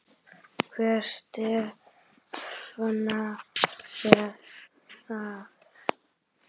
Hvernig stefna er það?